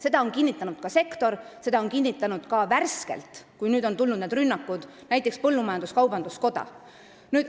Seda on kinnitanud sektor, seda on kinnitanud värskelt, kui on tulnud need rünnakud, näiteks põllumajandus-kaubanduskoda.